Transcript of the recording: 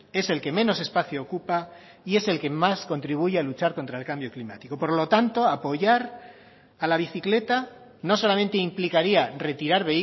es el que menos espacio ocupa y es el que más contribuye a luchar contra el cambio climático por lo tanto apoyar a la bicicleta no solamente implicaría retirar